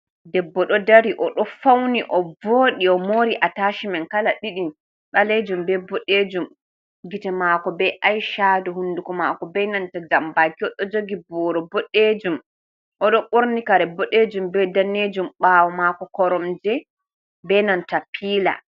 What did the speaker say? Debbo ɗo dari oɗo fauni o vodi, o mori a tashimen kala ɗiɗi, balejum be bodejum. Gite mako be aishado hunduko mako be nanta jambaki oɗo jogi buwro boddejum, oɗo bornikare boɗejum bei danejum ɓawo mako koromje be nanta pila.